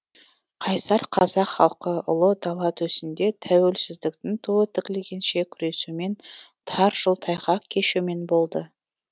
қайсар қазақ халқы ұлы дала төсінде тәуелсіздіктің туы тігілгенше күресумен тар жол тайғақ кешумен болды